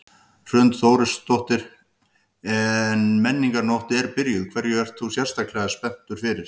Hrund Þórsdóttir: En Menningarnótt er byrjuð, hverju ert þú sérstaklega spenntur yfir?